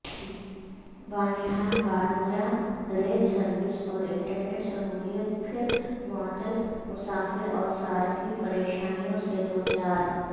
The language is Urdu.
بانہال بارہمولہ ریل سروس اور انٹر نیٹ سہولیت پھر معطل مسافراور صارفین پریشانیوں سے دوچار